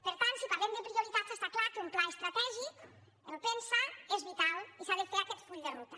per tant si parlem de prioritats està clar que un pla estratègic el pensaa és vital i s’ha de fer aquest full de ruta